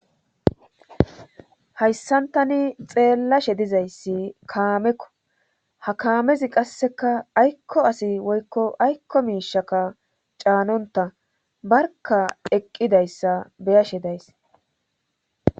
Hayssantani xeellashe dizayssi kaamekko ha kaamezi qasseka aykko asi woykko aykko miishaka caanonta barka eqqidayssa beyashe days.